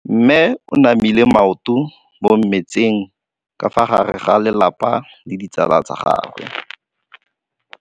Mme o namile maoto mo mmetseng ka fa gare ga lelapa le ditsala tsa gagwe.